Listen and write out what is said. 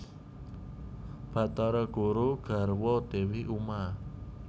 Bathara guru nggarwa Dewi Uma